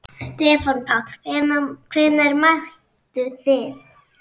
Stefán Páll: Hvenær mættuð þið?